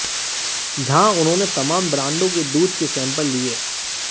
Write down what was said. जहां उन्होंने तमाम ब्रांडों के दूध के सैंपल लिए